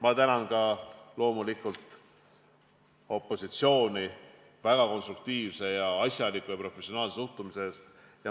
Ma tänan loomulikult ka opositsiooni väga konstruktiivse, asjaliku ja professionaalse suhtumise eest.